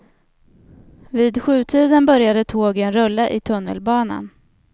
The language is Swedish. Vid sjutiden började tågen rulla i tunnelbanan.